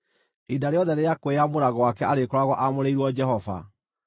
Ihinda rĩothe rĩa kwĩyamũra gwake arĩkoragwo aamũrĩirwo Jehova.